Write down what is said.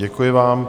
Děkuji vám.